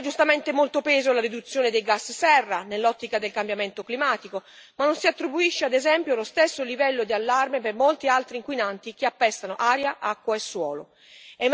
Si dà giustamente molto peso alla riduzione dei gas serra nell'ottica del cambiamento climatico, ma non si attribuisce, ad esempio, lo stesso livello di allarme per molti altri inquinanti che appestano aria, acqua e suolo.